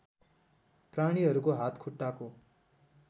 प्राणीहरूको हात खुट्टाको